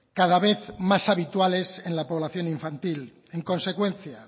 cada vez más habituales en la población infantil en consecuencia